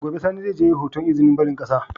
Gobe sani zai je yayi hoton izinin barin ƙasa